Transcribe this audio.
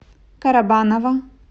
карабаново